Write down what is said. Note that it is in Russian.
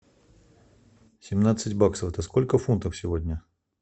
семнадцать баксов это сколько фунтов сегодня